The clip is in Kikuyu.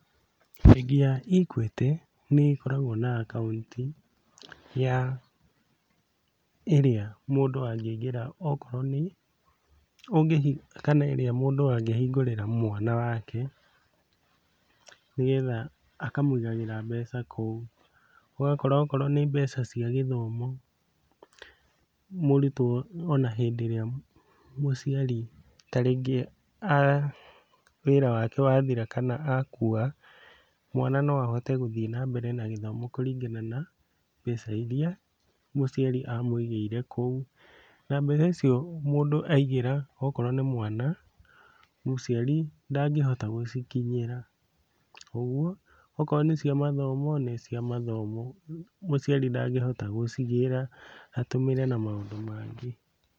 Bengi ya Equity, nĩ ĩgĩkoragwo na akaunti ya ĩrĩa mũndũ angĩingĩra okorwo nĩ, ũngĩ hi, kana ĩrĩa mũndũ angĩhingũrĩra mwana wake, nĩgetha akamũigagĩra mbeca kũu , ũgakora okorwo nĩ mbeca cia gthomo, mũrutwo ona rĩrĩa mũciari ta rĩngĩ wĩra wake wathira kana akua, mwana no ahote gũthiĩ na mbere na gĩthomo kũringana na mbeca iria mũciari amũigĩire kũu, na mbeca icio mũndũ aigĩra okorwo nĩ mwana, mũciari ndangĩhota gũcikinyĩra, okorwo nĩ cia mathomo , nĩ cia mathomo, mũciari ndangĩhota gũcigĩra atũmĩre na maũndũ mangĩ.